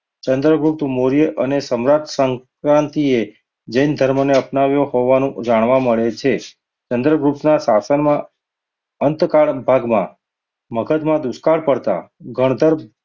ચંદ્રગુપ્ત મૌર્ય અને સમ્રાટ શક્રાંતિએ જૈન ધર્મને અપનાવ્યો હોવાનું જાણવા મળે છે. ચંદ્રગુપ્તના શાસનમાં અંતકાળ ભાગમાં મગદમાં દુષ્કાળ પડતાં